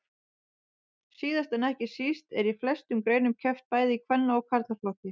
Síðast en ekki síst er í flestum greinum keppt bæði í kvenna og karlaflokki.